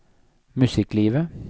musikklivet